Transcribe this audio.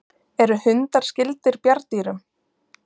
Eru hundar skyldir bjarndýrum?